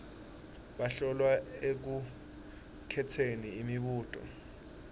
bahlolwa ekukhetseni imibuto